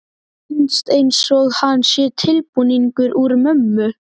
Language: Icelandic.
Finnst einsog hann sé tilbúningur úr mömmu.